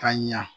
Ka ɲa